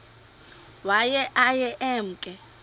waye aye emke